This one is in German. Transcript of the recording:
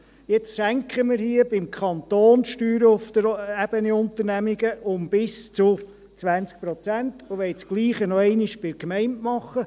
Jetzt senken wir seitens des Kantons Steuern auf der Ebene Unternehmungen um bis zu 20 Prozent und wollen das Gleiche noch einmal bei den Gemeinden tun.